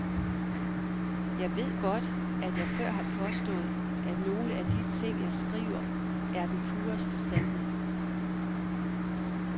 Jeg ved godt, at jeg før har påstået, at nogle af de ting jeg skriver, er den pureste sandhed.